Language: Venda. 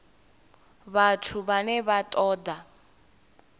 vhathu vhane vha ṱo ḓa